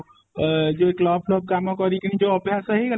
ଅ ଯୋଉ ଏଇ club କାମ କରିକିନି ଯୋଉ ଅଭ୍ୟାସ ହେଇ ଗଲାଣି